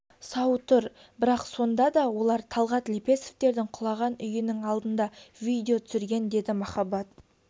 сау тұр бірақ сонда да олар талғат лепесовтердің құлаған үйінің алдында видео түсірген деді махаббат